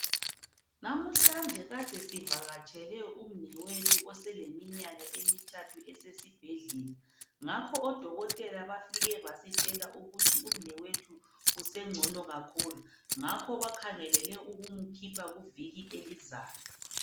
Namuhla kade sivakatshele umnewethu osele minyaka emithathu esesibhedlela ngakho odokotela bafike basitshela ukuthi umnewethu usengcono kakhulu ngakho bakhangelele ukumkhipha kuviki elizayo.